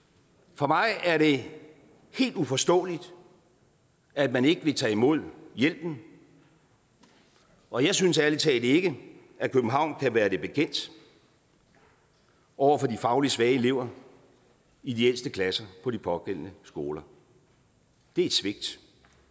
for mig er det helt uforståeligt at man ikke vil tage imod hjælpen og jeg synes ærlig talt ikke at københavn kan være det bekendt over for de fagligt svage elever i de ældste klasser på de pågældende skoler det er et svigt